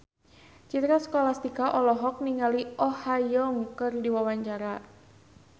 Citra Scholastika olohok ningali Oh Ha Young keur diwawancara